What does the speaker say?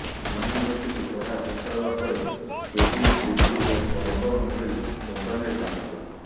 university ପଢା ଶେଷ ହେବା ପରେ କେବିନ ଗୁଗଲ ଓ ବରବନ ଭଳି କମ୍ପାନୀରେ କାମ କଲେ